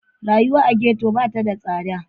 Rayuwa a ghetto ba ta da tsada.